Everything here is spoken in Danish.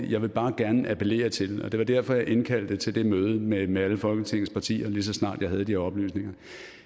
jeg vil bare gerne appellere til og det var derfor jeg indkaldte til det møde møde med alle folketingets partier lige så snart jeg havde de oplysninger